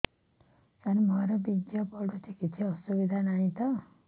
ସାର ମୋର ବୀର୍ଯ୍ୟ ପଡୁଛି କିଛି ଅସୁବିଧା ନାହିଁ ତ